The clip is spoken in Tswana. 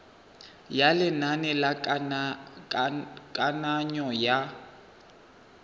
ya lenane la kananyo ya